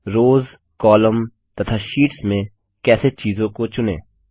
रोज़कॉलम तथा शीट्स में कैसे चीजों को चुनें